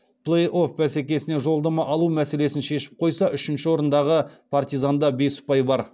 плей офф бәсекесіне жолдама алу мәселесін шешіп қойса үшінші орындағы партизанда бес ұпай бар